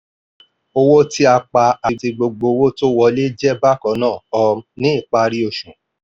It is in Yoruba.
owó tí a pa àti gbogbo owó tó wọlé jẹ́ bákannáà um ní ìparí oṣù.